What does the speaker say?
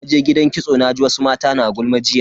Naje gidan kitso naji wasu mata na gulma jiya.